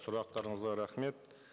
сұрақтарыңызға рахмет